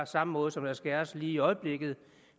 samme måde som der skæres lige i øjeblikket